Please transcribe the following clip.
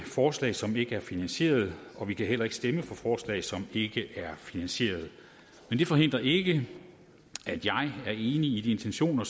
forslag som ikke er finansieret og vi kan heller ikke stemme for forslag som ikke er finansieret men det forhindrer ikke at jeg er enig i de intentioner